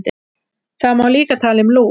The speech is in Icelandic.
Það má líka tala um lús.